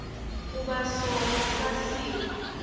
kuba sona sasi